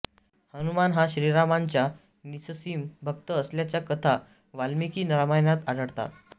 हनुमान हा श्रीरामांचा निससीम भक्त असल्याच्या कथा वाल्मिकी रामायणात आढळतात